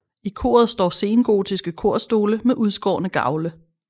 I koret står sengotiske korstole med udskårne gavle